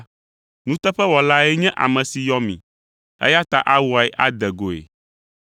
Nuteƒewɔlae nye ame si yɔ mi, eya ta awɔe ade goe.